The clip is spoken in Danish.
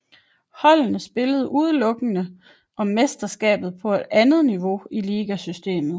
Holdene spillede udelukkende om mesterskabet på andet niveau i ligasystemet